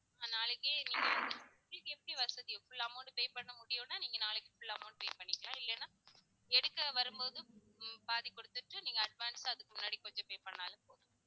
நாளைக்கே நீங்க வந்து உங்களுக்கு எப்படி வசதி full amount pay பண்ண முடியும்னா நீங்க நாளைக்கு full amount pay பண்ணிக்கலாம் இல்லனா எடுக்க வரும்போது உம் பாதி குடுத்துட்டு நீங்க advance அ அதுக்கு முன்னாடி கொஞ்சம் pay பண்ணாலும் போதும்